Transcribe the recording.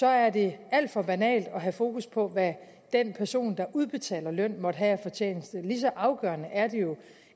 er det alt for banalt at have fokus på hvad den person der udbetaler løn måtte have af fortjeneste lige så afgørende er det jo